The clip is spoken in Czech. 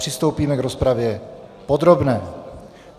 Přistoupíme k rozpravě podrobné.